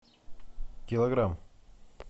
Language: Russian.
килограмм